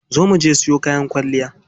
Za muje siyo kayan kwalliya.